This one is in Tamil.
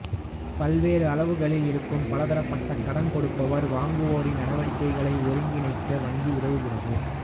பல்வேறு அளவுகளில் இருக்கும் பல்தரப்பட்ட கடன் கொடுப்பவர் வாங்குவோரின் நடவடிக்கைகளை ஒருங்கிணைக்க வங்கி உதவுகிறது